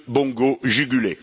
Bongo jugulé.